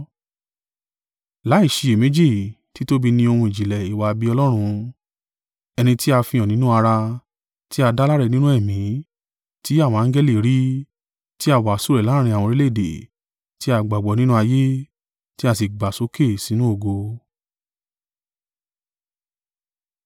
Láìṣiyèméjì, títóbi ní ohun ìjìnlẹ̀ ìwà-bí-Ọlọ́run: ẹni tí a fihàn nínú ara, tí a dá láre nínú Ẹ̀mí, ti àwọn angẹli rí, tí a wàásù rẹ̀ láàrín àwọn orílẹ̀-èdè, tí a gbàgbọ́ nínú ayé, tí a sì gbà sókè sínú ògo.